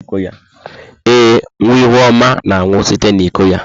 Ee, nwa Ihuoma na-aṅụ site n'iko ya.